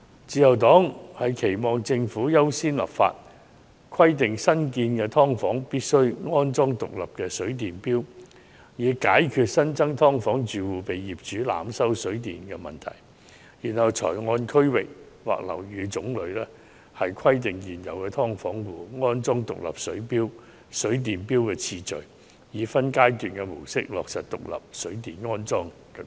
自由黨期望政府優先立法，規定新建"劏房"必須安裝獨立水電錶，以解決新增"劏房"住戶被業主濫收水電費的問題，然後才按區域或樓宇種類編排現存"劏房"安裝獨立水電錶的次序，以分階段方式落實安裝獨立水電錶的規定。